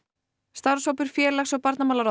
starfshópur félags og